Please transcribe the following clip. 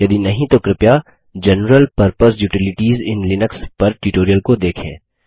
यदि नहीं तो कृपया general purpose utilities in Linux पर ट्यूटोरियल को देखें